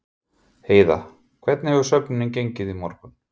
Heiða, hvernig hefur söfnunin gengið í morgun?